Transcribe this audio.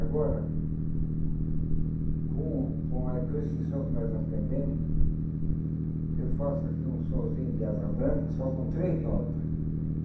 Agora, com com a com esse som que nós aprendemos, eu faço aqui um sonzinho de asa branca, só com três nota.